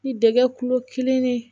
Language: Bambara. Ni dɛgɛ kulo kelen